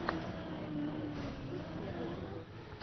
эмтээмвуд первый эпизод